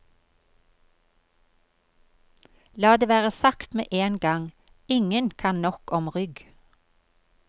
La det være sagt med en gang, ingen kan nok om rygg.